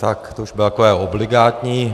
Tak, to už bude takové obligátní.